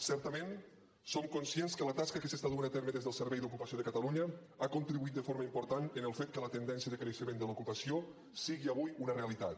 certament som conscients que la tasca que s’està duent a terme des del servei d’ocupació de catalunya ha contribuït de forma important en el fet que la tendència de creixement de l’ocupació sigui avui una realitat